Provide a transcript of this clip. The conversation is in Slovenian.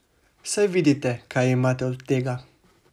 Saj vidite, kaj imate od tega!